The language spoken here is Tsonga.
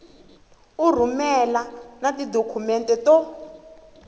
u rhumela na tidokhumente to